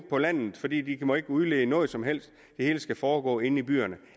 på landet for de må ikke udlede noget som helst det hele skal foregå inde i byerne